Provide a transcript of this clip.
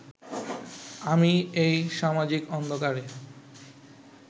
আমি এই সামাজিক অন্ধকারে